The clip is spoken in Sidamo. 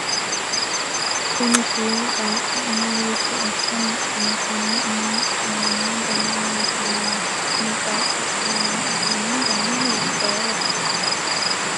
kuni shiimu qaaqqi umo hiitto asse mudhino? konne umo mudhinanni dana maati yinanni? kuni qaaqqi uddire noo uduunni dani hiittooho?